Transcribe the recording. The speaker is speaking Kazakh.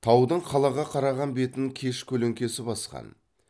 таудың қалаға қараған бетін кеш көлеңкесі басқан